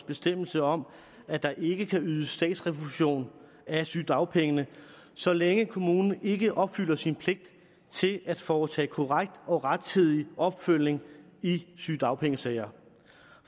bestemmelse om at der ikke kan ydes statsrefusion af sygedagpengene så længe kommunen ikke opfylder sin pligt til at foretage korrekt og rettidig opfølgning i sygedagpengesager